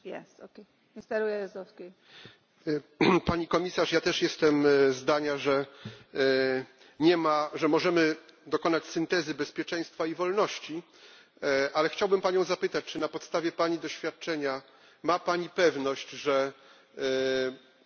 Pani Komisarz, ja też jestem zdania, że możemy dokonać syntezy bezpieczeństwa i wolności, ale chciałbym Panią zapytać, czy na podstawie Pani doświadczenia ma Pani pewność, że opracowywane i przygotowywane dzisiaj akty prawne